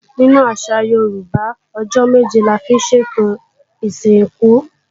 Nínú àṣà Yorùbá, ọjọ́ méje la máa ń fi sètò ìsìnkú.